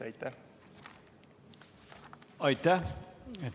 Aitäh!